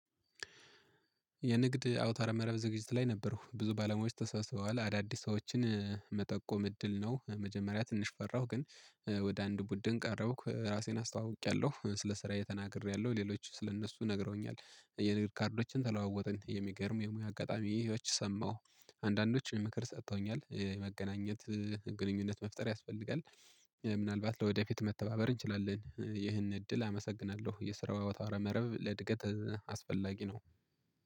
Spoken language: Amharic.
የንግድ አውታር መረብ ዝግጅት ላይ ነበርኩ ብዙ ባለሙያወች ተሰብስበዋል አዳዲስ ሰዎችን መጠቆም እድል ነው። መጀመሪያ ትንሽ ፈራሁ ግን ወደ አንድ ቡድን ቀረብኩ ራሴን አስተዋውቄለሁ ስለ ስራዬ ተናግሬለሁ ሌሎች ስለ እነሱ ነግረውኛል። የንግድ ካርዶችን ተለዋወጠን የሚገርም የሙያ አጋጣሚ ህይወቶች ሰማሁ። አንዳንዶች የሚመክር ሰጥተውኛል የመገናኘት ግንኙነት መፍጠር ያስፈልጋል። ምናልባት ለወደፊት መተባበር እንችላለን። ይህንን እድል አመሰግናለሁ። የስራው አውተ መረብ ለእድገት አስፈላጊ ነው።